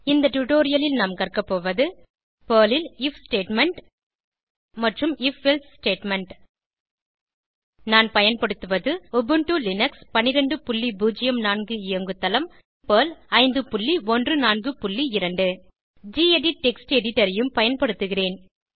இந்த டுடோரியலில் நாம் கற்க போவது பெர்ல் ல் ஐஎஃப் ஸ்டேட்மெண்ட் மற்றும் if எல்சே ஸ்டேட்மெண்ட் நான் பயன்படுத்துவது உபுண்டு லினக்ஸ் 1204 இயங்கு தளம் மற்றும் பெர்ல் 5142 கெடிட் டெக்ஸ்ட் எடிட்டர் ஐயும் பயன்படுத்துகிறேன்